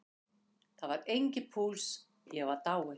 Það var enginn púls, ég var dáinn.